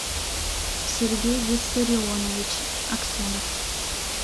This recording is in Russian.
сергей виссарионович аксенов